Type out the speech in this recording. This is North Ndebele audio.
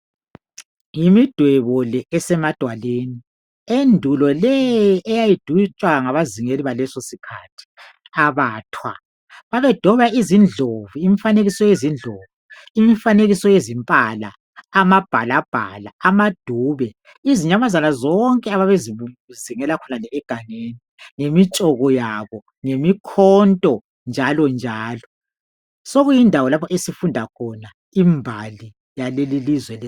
Yimidwebo le esemadwaleni , endulo le eyayidwetshwa ngabazingeni baleleso sikhathi abathwa. Babedweba izindlovu, imfanekiso yezimpala, amabhalabhala amadube. Izinyamanyana zonke ababezingela egangeni lemitshoko yabo lemikhonto njalo njalo. Sokuyindawo lapho esifunda khona imbali yaleli lizwe.